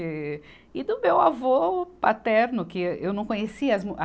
E do meu avô paterno, que eu não conhecia as mu, a.